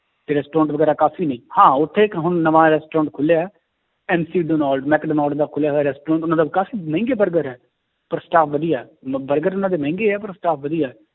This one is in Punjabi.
ਤੇ restaurant ਵਗ਼ੈਰਾ ਕਾਫ਼ੀ ਨੇ, ਹਾਂ ਉੱਥੇ ਇੱਕ ਹੁਣ ਨਵਾਂ restaurant ਖੁੱਲਿਆ ਹੈ ਮੈਕਡੋਨਲਡ ਦਾ ਖੁੱਲਿਆ ਹੋਇਆ restaurant ਉਹਨਾਂ ਦਾ ਕਾਫ਼ੀ ਮਹਿੰਗੇ ਬਰਗਰ ਹੈ ਪਰ staff ਵਧੀਆ ਹੈ ਮ~ ਬਰਗਰ ਉਹਨਾਂ ਦੇ ਮਹਿੰਗੇ ਹੈ ਪਰ staff ਵਧੀਆ ਹੈ